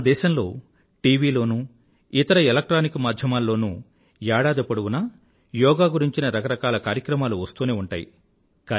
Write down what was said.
మన దేశంలో టివీ లోనూ ఇతర ఎలెక్ట్రానిక్ మాధ్యమాల లోనూ ఏడాది పొడువునా యోగా గురించిన రకరకాల కార్యక్రమాలు వస్తూనే ఉంటాయి